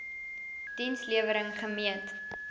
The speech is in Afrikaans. diens lewering gemeet